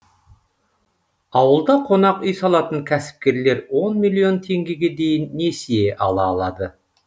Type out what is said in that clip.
ауылда қонақ үй салатын кәсіпкерлер он миллион теңгеге дейін несие ала алады